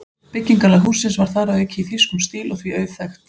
Byggingarlag hússins var þar að auki í þýskum stíl og því auðþekkt.